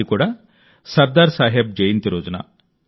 అది కూడా సర్దార్ సాహెబ్ జయంతి రోజున